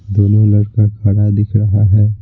दोनों लड़का खड़ा दिख रहा है।